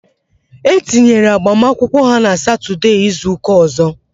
E tinyera agbamakwụkwọ n' Satọdee izuka ọzọ